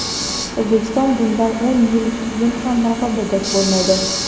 O‘zbekiston bundan o‘n yildan keyin ham raqobatdosh bo‘lmaydi.